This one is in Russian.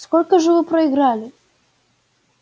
сколько же вы проиграли